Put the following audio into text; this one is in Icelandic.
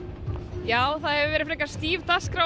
já það hefur verið stíf dagskrá